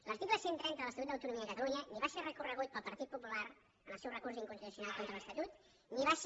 l’article cent i trenta de l’estatut d’autonomia de catalunya ni va ser recorregut pel partit popular en el seu recurs d’inconstitucionalitat contra l’estatut ni va ser